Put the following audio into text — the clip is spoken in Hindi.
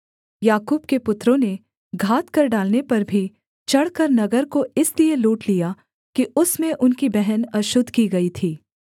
याकूब के पुत्रों ने घात कर डालने पर भी चढ़कर नगर को इसलिए लूट लिया कि उसमें उनकी बहन अशुद्ध की गई थी